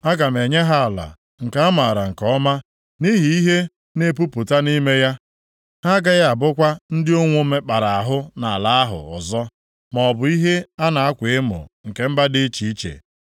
Aga m enye ha ala nke amaara nke ọma nʼihi ihe na-epupụta nʼime ya, ha agaghị abụkwa ndị ụnwụ mekpara ahụ nʼala ahụ ọzọ, maọbụ ihe a na-akwa emo nke mba dị iche iche.